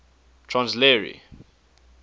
transl ar y